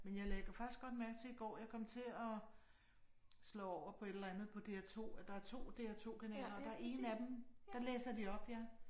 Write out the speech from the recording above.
Men jeg lagde faktisk godt mærke til i går jeg kom til at slå over på et eller andet på DR2 der er 2 DR2 kanaler og der er en af dem der læser de op ja